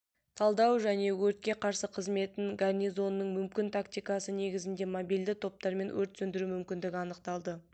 талдау және өртке қарсы қызметін гарнизонының мүмкін тактикасы негізінде мобильды топтармен өрт сөндіру мүмкінді анықталды